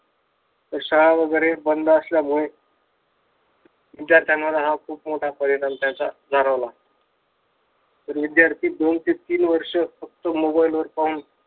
शाळा वगैरे बंद असल्यामुळे विध्यार्थ्यांवर हा खूप मोठा परिणाम त्याचा जाणवला. तर विद्यार्थी दोन ते तीन वर्ष फक्त mobile वर पाहून